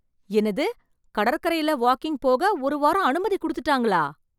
என்னது, கடற்கரையில வாக்கிங் போக ஒரு வாரம் அனுமதி குடுத்துட்டாங்களா.